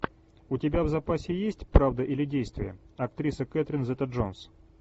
у тебя в запасе есть правда или действие актриса кэтрин зета джонс